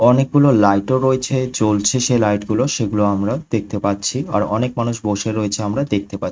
অনেকগুলো লাইট -ও রয়েছে জ্বলছে সে লাইট -গুলো সেগুলো আমরা দেখতে পাচ্ছি আর অনেক মানুষ বসে রয়েছে আমরা দেখতে পা --